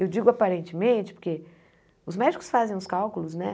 Eu digo aparentemente, porque os médicos fazem os cálculos, né?